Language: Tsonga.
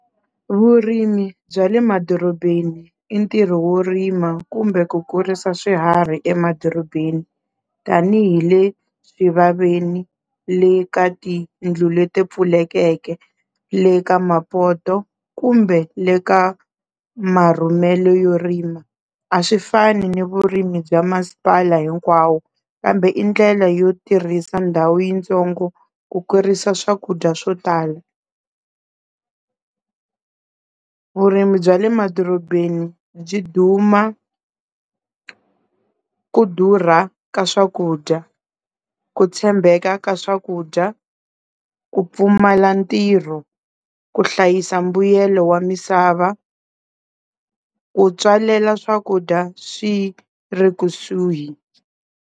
Vurimi bya le madorobeni i ntirho wo rima kumbe ku kurisa swiharhi emadorobeni, tanihi le swivaveni le ka tiyindlu leti pfulekeke, le ka mapoto kumbe le ka marhumelo yo rima, a swi fani ni vurimi bya masipala hinkwawo kambe i ndlela yo tirhisa ndhawu yitsongo ku kurisa swakudya swo tala. Vurimi bya le madorobeni byi duma ku durha ka swakudya, ku tshembeka ka swakudya, ku pfumala ntirho, ku hlayisa mbuyelo wa misava, ku tswalela swakudya swi ri kusuhi.